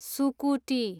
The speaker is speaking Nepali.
सुकुटी